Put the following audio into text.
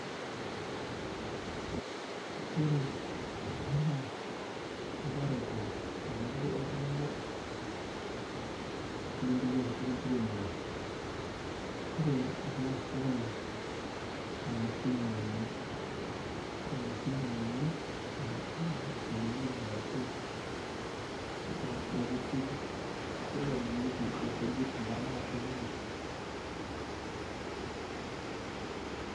Ore kuna na irparakuo tenebo oltunganak lenkiremore ore ena naa emashini ena, emashini ena nai nadungieki ashu nakesieki nadungieki nkujit metaa kunyinyik.